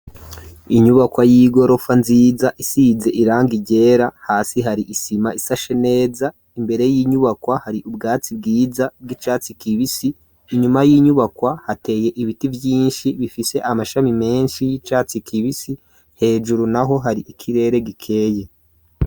Inyubakwa y'igorofa nziza, isize irangi ryera, hasi hari isima isashe neza, imbere y'inyubakwa hari ubwatsi bwiza bw'icatsi kibisi, inyuma y'inyubakwa hateye ibiti vyinshi bifise amashami menshi, y'icatsi kibisi, hejuru naho hari ikirere gikeye.